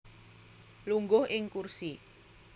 Lungguh ing kursi